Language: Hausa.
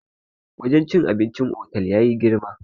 wajen cin abincin otal ya yi girma